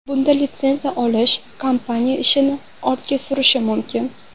Bunda litsenziya olish kompaniya ishini ortga surishi mumkin.